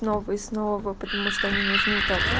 новые снова потому что они нужны как